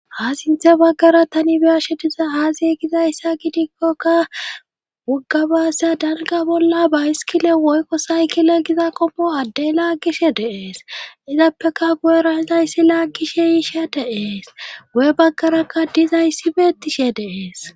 ha sinthe baggara tani biyashe diza haaziegizayssa gidikkoka wuggabaasseya danga bolla ba iskile woykko saykile giza komo addey laaggishe deees izappeka gu7era izayssi laaggishe yiishe deees wu7e baggarakka dizayssi beettishe deees